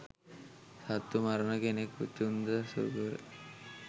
සත්තු මරණ කෙනෙක් චුන්ද සූකර.